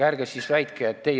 Palun lisaaega!